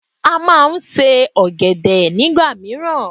A má a nse ọ̀gẹ̀dẹ̀ nígbà míràn